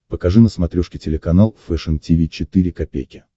покажи на смотрешке телеканал фэшн ти ви четыре ка